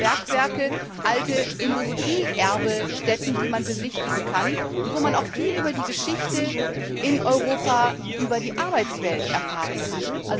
alte Bergwerke, alte Industrieerbestätten, die man besichtigen kann und wo man viel über die Geschichte in Europa, über die Arbeitswelt erfahren kann.